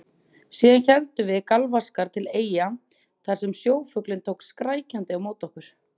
Síðan héldum við galvaskar til Eyja þar sem sjófuglinn tók skrækjandi á móti okkur.